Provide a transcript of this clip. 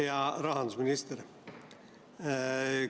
Hea rahandusminister!